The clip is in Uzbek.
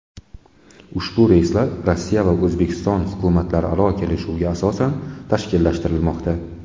Ushbu reyslar Rossiya va O‘zbekiston hukumatlararo kelishuvga asosan tashkillashtirilmoqda.